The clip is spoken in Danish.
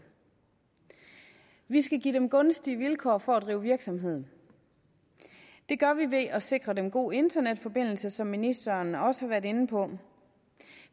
vi skal give dem gunstige vilkår for at drive virksomhed det gør vi ved at sikre dem en god internetforbindelse som ministeren også har været inde på